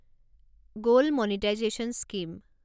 gold monetisation scheme